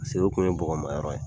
o kun ye bɔgɔmayɔrɔ ye